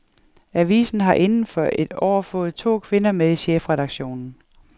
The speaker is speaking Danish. Avisen har inden for et år fået to kvinder med i chefredaktionen.